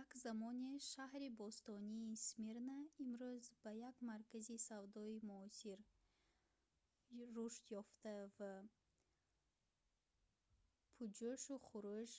як замоне шаҳри бостонии смирна имрӯз ба як маркази савдои муосир рушдёфта ва пуҷӯшу хурӯш